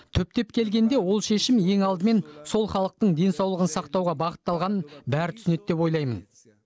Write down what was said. түптеп келгенде ол шешім ең алдымен сол халықтың денсаулығын сақтауға бағытталғанын бәрі түсінеді деп ойлаймын